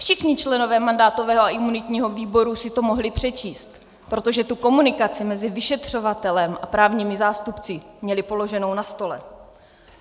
Všichni členové mandátového a imunitního výboru si to mohli přečíst, protože tu komunikaci mezi vyšetřovatelem a právními zástupci měli položenou na stole.